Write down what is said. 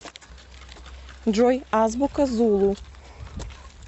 джой азбука зулу